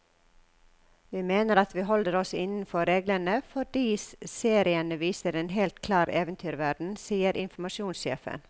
Vi mener at vi holder oss innenfor reglene, fordi seriene viser en helt klar eventyrverden, sier informasjonssjefen.